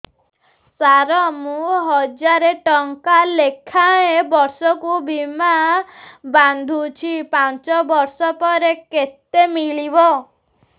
ସାର ମୁଁ ହଜାରେ ଟଂକା ଲେଖାଏଁ ବର୍ଷକୁ ବୀମା ବାଂଧୁଛି ପାଞ୍ଚ ବର୍ଷ ପରେ କେତେ ମିଳିବ